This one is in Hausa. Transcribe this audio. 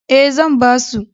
E, zan ba su.